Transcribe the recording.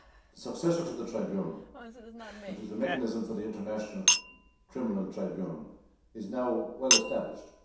The successor to the Tribunal, which is the Mechanism for International Criminal Tribunals, is now well established.